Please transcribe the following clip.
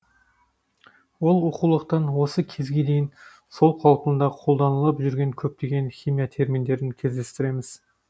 ол оқулықтан осы кезге дейін сол қалпында қолданылып жүрген көптеген химия терминдерін кездестіреміз